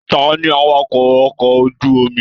Taní awakọ ọkọ̀ ojú omi?